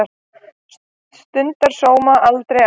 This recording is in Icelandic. Stundar sóma, aldrei ann